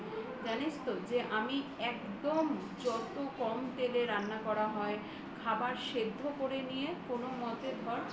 জানিস তো যে আমি একদম যত কম তেলে রান্না করা হয় খাবার সেদ্ধ করে নিয়ে কোন মতে ধর